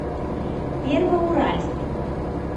первоуральск